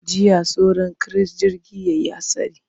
Jiya sauran kiris jirgi ya yi hatsari.